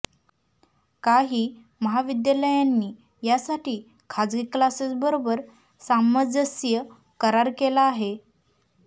काही महाविद्यालयांनी यासाठी खासगी क्लासेस बरोबर सामंजस्य करार केला आहे